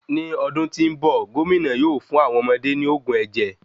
Ní ọdún tí nbọ, gomina yóò fun awọn ọmọde ní oògùn ẹjẹ